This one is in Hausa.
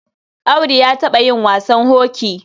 Audu ya taɓa yin wasan hoki.